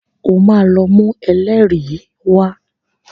Ó máa lọ mú ẹlẹ́rìí wá.